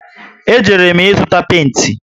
E jere m ịzụta penti